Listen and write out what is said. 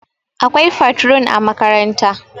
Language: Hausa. akwai fatrun a makaranta